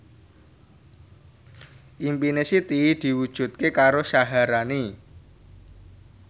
impine Siti diwujudke karo Syaharani